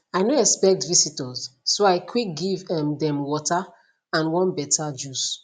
i no expect visitors so i quick give um dem water and one better juice